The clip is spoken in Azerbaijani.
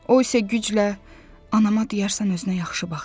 O isə güclə anama deyərsən özünə yaxşı baxsın.